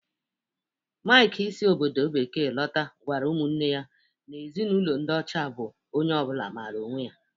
Mike si obodo bekee lota gwara umunne ya na Ezinụlọ ndi ocha bu onye obula maara onwe ya.